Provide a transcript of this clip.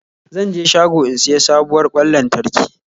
Zan je shago in siya sabuwar kwan lantarki